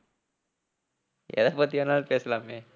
எதை பத்தி வேணாலும் பேசலாமே.